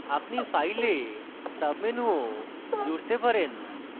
আপনি file sub menu ও জুড়তে পারেন